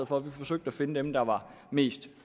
for vi forsøgte at finde dem der var mest